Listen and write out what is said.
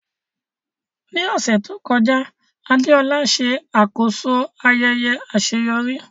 Ní ọ̀sẹ̀ tó kọjá, Adeola ṣe àkóso ayẹyẹ àṣeyọrí.